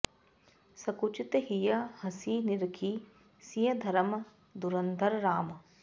सकुचित हियँ हँसि निरखि सिय धरम धुरंधर राम